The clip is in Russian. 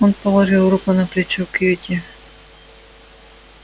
он положил руку на плечо кьюти